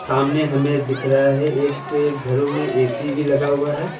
सामने हमें दिख रहा है एक के घरों में ए_सी भी लगा हुआ है।